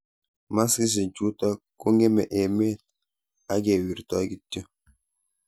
maskishek chuto kongeme emet akewirtai kityo